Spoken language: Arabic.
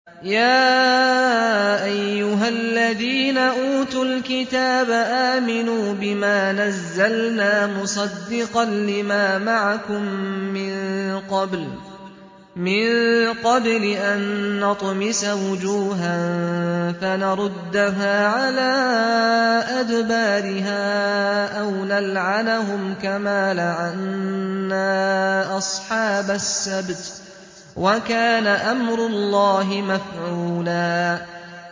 يَا أَيُّهَا الَّذِينَ أُوتُوا الْكِتَابَ آمِنُوا بِمَا نَزَّلْنَا مُصَدِّقًا لِّمَا مَعَكُم مِّن قَبْلِ أَن نَّطْمِسَ وُجُوهًا فَنَرُدَّهَا عَلَىٰ أَدْبَارِهَا أَوْ نَلْعَنَهُمْ كَمَا لَعَنَّا أَصْحَابَ السَّبْتِ ۚ وَكَانَ أَمْرُ اللَّهِ مَفْعُولًا